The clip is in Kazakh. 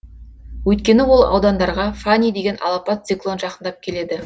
өйткені ол аудандарға фани деген алапат циклон жақындап келеді